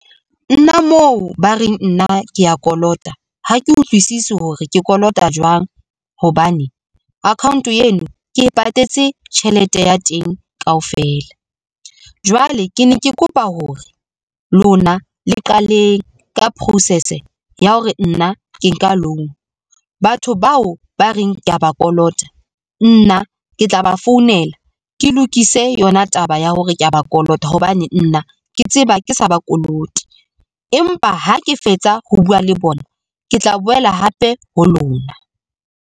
Nna mo ba reng nna kea kolota ha ke utlwisisi hore ke kolota jwang, hobane account eno ke patetse tjhelete ya teng kaofela. Jwale ke ne ke kopa hore lona le qaleng ka process ya hore nna ke nka loan, batho bao ba reng ke ya ba kolota, nna ke tla ba founela ke lokise yona taba ya hore kea ba kolota hobane nna ke tseba ke sa ba kolote. Empa ha ke fetsa ho bua le bona, ke tla boela hape ho lona.